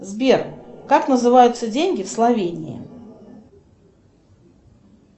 сбер как называются деньги в словении